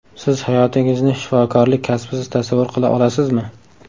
Siz hayotingizni shifokorlik kasbisiz tasavvur qila olasizmi?